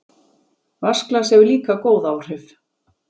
Vatnsglas hefur líka góð áhrif.